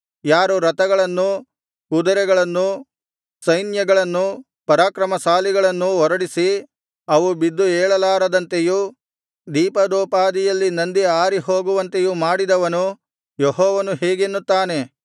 ಯಾರು ರಥಗಳನ್ನು ಕುದರೆಗಳನ್ನು ಸೈನ್ಯಗಳನ್ನು ಪರಾಕ್ರಮಶಾಲಿಗಳನ್ನು ಹೊರಡಿಸಿ ಅವು ಬಿದ್ದು ಏಳಲಾರದಂತೆಯೂ ದೀಪದೋಪಾದಿಯಲ್ಲಿ ನಂದಿ ಆರಿಹೋಗುವಂತೆಯೂ ಮಾಡಿದವನು ಯೆಹೋವನು ಹೀಗೆನ್ನುತ್ತಾನೆ